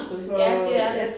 Ja det er det